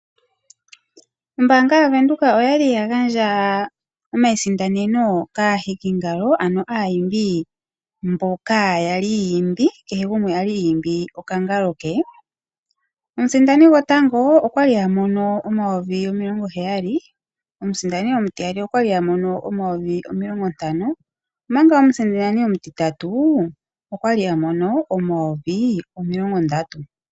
Ombaanga yaVenduka oya li ya gandja omayisindaneno kaahikingalo ano kaaimbi mbok aya li yi imbi kehe gumwe a li i imbi okangalo ke. Omusindani gotango okwa li a mono N$ 70 000, omusindani omutiyali okwa li a mono N$ 50 000, omanga omusindani omutitatu okwa li a mono N$ 30 000.